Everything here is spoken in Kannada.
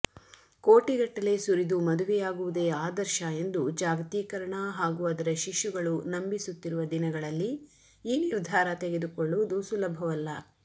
ಕೋಟಿಗಟ್ಟಲೆ ಸುರಿದು ಮದುವೆಯಾಗುವುದೇ ಆದರ್ಶ ಎಂದು ಜಾಗತೀಕರಣ ಹಾಗೂ ಅದರ ಶಿಶುಗಳು ನಂಬಿಸುತ್ತಿರುವ ದಿನಗಳಲ್ಲಿ ಈ ನಿರ್ಧಾರ ತೆಗೆದುಕೊಳ್ಳುವುದು ಸುಲಭವಲ್ಲ